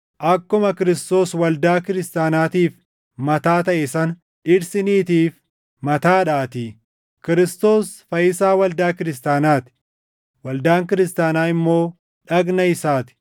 Akkuma Kiristoos waldaa kiristaanaatiif mataa taʼe sana dhirsi niitiif mataadhaatii; Kiristoos Fayyisaa waldaa kiristaanaa ti; waldaan kiristaanaa immoo dhagna isaa ti.